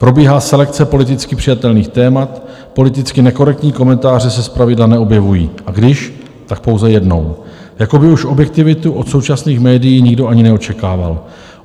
Probíhá selekce politicky přijatelných témat, politicky nekorektní komentáře se zpravidla neobjevují, a když, tak pouze jednou, jako by už objektivitu od současných médií nikdo ani neočekával.